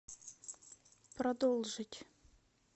продолжить